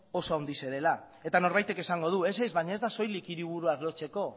oso handia dela eta norbaitek esango du ez baina ez da soilik hiriburuak lotzeko